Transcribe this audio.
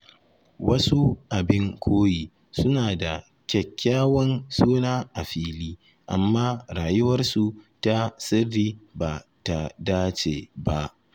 Wasu abin koyi suna da kyakkyawan suna a fili, amma rayuwarsu ta sirri ba ta dace ba.